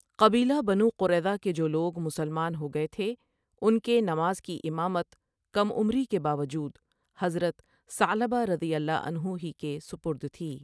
قبیلہ بنو قریظہ کے جولوگ مسلمان ہو گئے تھے، ان کے نماز کی امامت کم عمری کے باوجود حضرت ثعلبہ رضی اللہ عنہ ہی کے سپرد تھی۔